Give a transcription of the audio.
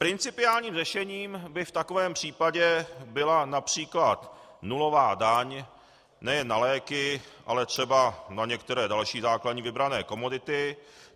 Principiálním řešením by v takovém případě byla například nulová daň nejen na léky, ale třeba na některé další základní vybrané komodity.